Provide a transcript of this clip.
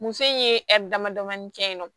Muso in ye damadama kɛ yen nɔ